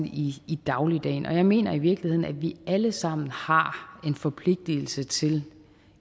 i i dagligdagen og jeg mener i virkeligheden at vi alle sammen har en forpligtelse til